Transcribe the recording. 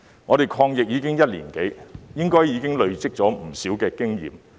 我們抗疫已經一年多，應當累積了不少經驗。